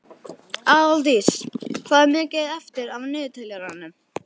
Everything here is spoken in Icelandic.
Aðaldís, hvað er mikið eftir af niðurteljaranum?